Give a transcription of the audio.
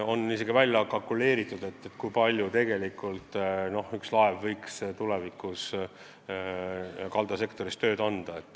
On isegi tehtud kalkulatsioone, kui palju üks laev võiks tulevikus kaldasektoris tööd anda.